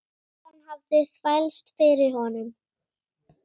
Enskan hafði þvælst fyrir honum.